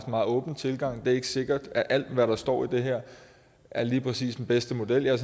meget åben tilgang det er ikke sikkert at alt hvad der står i det her er lige præcis den bedste model jeg er